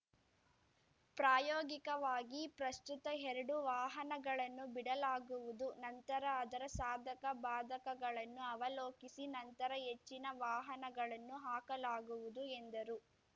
ಪ್ರಾಯೋಗಿಕವಾಗಿ ಪ್ರಸ್ತುತ ಎರಡು ವಾಹನಗಳನ್ನು ಬಿಡಲಾಗುವುದು ನಂತರ ಅದರ ಸಾಧಕ ಭಾದಕಗಳನ್ನು ಅವಲೋಕಿಸಿ ನಂತರ ಹೆಚ್ಚಿನ ವಾಹನಗಳನ್ನು ಹಾಕಲಾಗುವುದು ಎಂದರು